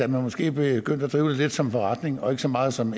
måske begyndte at drive det lidt som en forretning og ikke så meget som